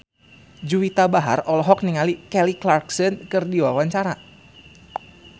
Juwita Bahar olohok ningali Kelly Clarkson keur diwawancara